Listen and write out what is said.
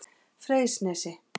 Freysnesi